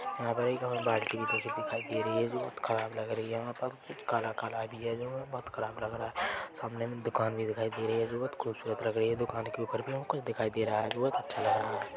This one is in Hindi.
यहाँ पे एक बाल्टी नीले कलर की दिखाई दे रही है जो बहुत ख़राब लग रही है वहाँ पर कुछ काला काला भी है जो बोहत खराब लग रही है सामने दुकान भी दिखाई दे रही है बोहत खूबसूरत लग रही है दूकान के ऊपर भी कुछ दिखाई दे रहा है जो अच्छा लग रहा है।